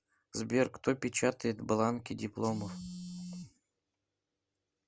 сбер кто печатает бланки дипломов